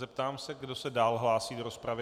Zeptám se, kdo se dál hlásí do rozpravy.